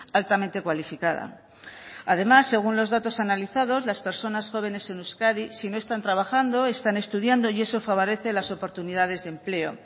altamente cualificada además según los datos analizados las personas jóvenes en euskadi si no están trabajando están estudiando y eso favorece las oportunidades de empleo